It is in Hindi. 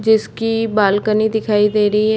जिसकी बालकनी दिखाई दे रही है।